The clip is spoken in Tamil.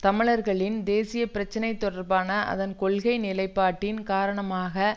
தமிழர்களின் தேசிய பிரச்சினை தொடர்பான அதன் கொள்கை நிலைப்பாட்டின் காரணமாக